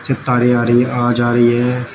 आ रही हैं आ जा रही है।